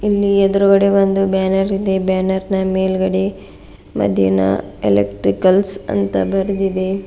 ಇಲ್ಲಿ ಎದುರುಗಡೆ ಒಂದು ಬ್ಯಾನರ್ ಇದೆ ಬ್ಯಾನರ್ನ ಮೇಲ್ಗಡೆ ಮದಿನಾ ಎಲೆಕ್ಟ್ರಿಕಲ್ಸ್ ಅಂತ ಬರೆದಿದೆ.